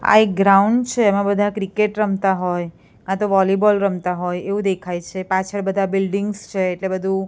આ એક ગ્રાઉન્ડ છે એમાં બધા ક્રિકેટ રમતા હોય કાં તો વોલીબોલ રમતા હોય એવું દેખાય છે પાછળ બધા બિલ્ડિંગ્સ છે એટલે બધું--